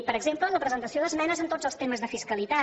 per exemple la presentació d’esmenes en tots els temes de fiscalitat